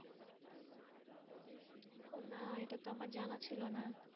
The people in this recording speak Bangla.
না, এটা তো আমার জানা ছিলো না।